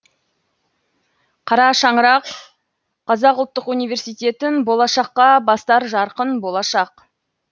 қара шаңырақ қазақ ұлттық университеттің болашаққа бастар жарқын болашақ